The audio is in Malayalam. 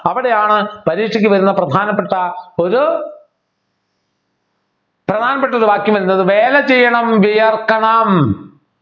അവിടെയാണ് പരീക്ഷയ്ക്ക് വരുന്ന പ്രധാനപ്പെട്ട ഒരു പ്രധാനപ്പെട്ട ഒരു വാക്യം എന്നത് വേല ചെയ്യണം വിയർക്കണം